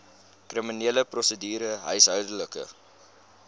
kriminele prosedure huishoudelike